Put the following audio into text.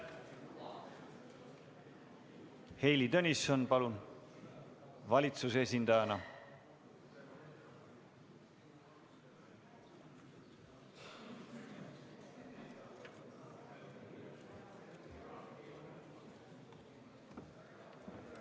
Heili Tõnisson valitsuse esindajana, palun!